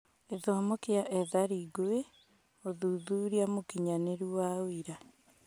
Gĩthomo kia ethari ngũĩ: ũthuthuria mũkinyanĩru wa ũira